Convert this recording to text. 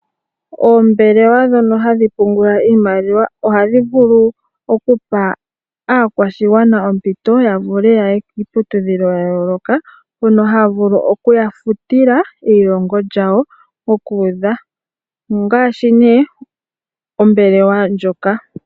Oombelewa ndhono hadhi pungula iimaliwa, ohadhi vulu okupa aakwashigwana ompito yavule yaye kiiputudhilo ya yooloka, mono haya vulu oku ya futila eilongo lyawo mokuudha. Ongaashi ne ombelewa ndjoka.